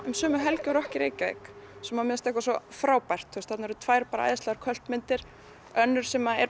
um sömu helgi og rokk í Reykjavík sem mér finnst svo frábært þarna voru tvær æðislegar myndir önnur sem er